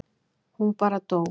Hún bara dó.